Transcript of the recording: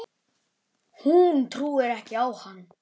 Hún trúir ekki á hann.